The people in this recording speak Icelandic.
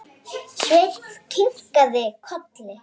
Svenni kinkar kolli.